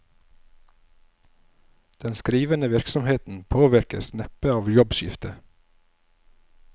Den skrivende virksomheten påvirkes neppe av jobbskiftet.